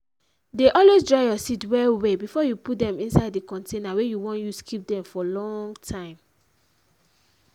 dey always dry your seed well well before you put dem inside di container wey you wan use keep dem for long time.